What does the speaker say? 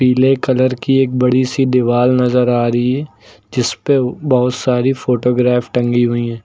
पीले कलर की एक बड़ी सी दीवाल नजर आ रही है जिस पे बहुत सारी फोटोग्राफ टंगी हुई हैं।